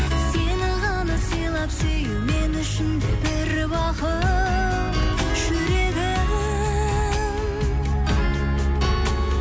сені ғана сыйлап сүю мен үшін де бір бақыт жүрегім